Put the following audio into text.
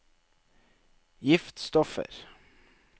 giftstoffer